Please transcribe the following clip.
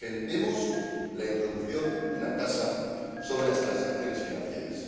Defendemos la introducción de una tasa sobre las transacciones financieras.